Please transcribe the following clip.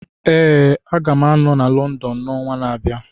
Ee, Aga m anọ na London n'ọnwa na-abịa.